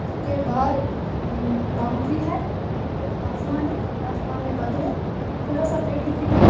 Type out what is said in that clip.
उसके बाहर अ बाउंड्री है ऊपर आसमान है आसमान में बादल है थोड़ा सा पेड़ दिखाई दे रहा --